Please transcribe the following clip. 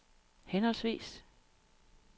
henholdsvis